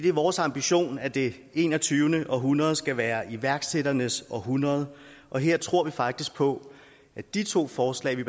er vores ambition at det enogtyvende århundrede skal være iværksætternes århundrede og her tror vi faktisk på at de to forslag der